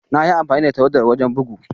Na yi amfani da tawadar wajen bugu.